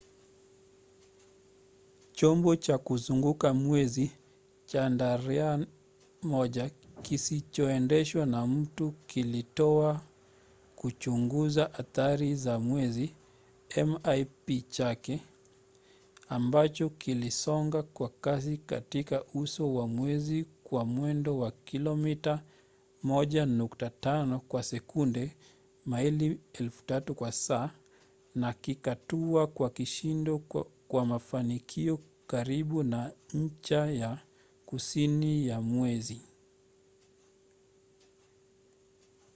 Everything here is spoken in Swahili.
chombo cha kuzunguka mwezi chandrayaan-1 kisichoendeshwa na mtu kilitoa kichunguza athari za mwezi mip chake ambacho kilisonga kwa kasi katika uso wa mwezi kwa mwendo wa kilomita 1.5 kwa sekunde maili 3000 kwa saa na kikatua kwa kishindo kwa mafanikio karibu na ncha ya kusini ya mwezi